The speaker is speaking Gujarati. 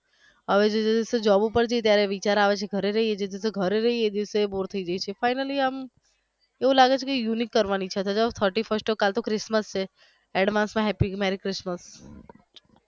હવે જે દિવસ job ઉપર જઈએ ત્યારે વિચાર આવે છે ઘરે રહીએ જે દિવસે ઘરે રહિએ એ દિવસે bore થઈ જઈએ છીએ finally આમ એવું લાગે છે કે કાંંઈક unique કરવા ની ઇચ્છા થાય છે હવે thirty first કાલ તો christmas છે advance માં happy marry christmas